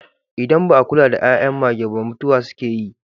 Idan ba a kula da 'yan'yan mage ba mutuwa suke yi.